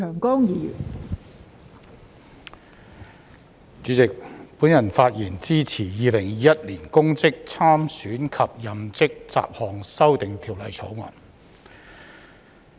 代理主席，我發言支持《2021年公職條例草案》。